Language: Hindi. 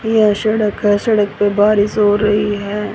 यह सड़क है सड़क पे बारिश हो रही है।